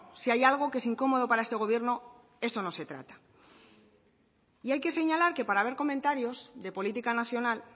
si hay algo que es incómodo para este gobierno eso no se trata y hay que señalar que para ver comentarios de política nacional